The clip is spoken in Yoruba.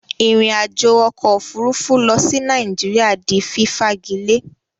Ìrìn àjò okò òfurufú lo sí Naijiria di fífagilé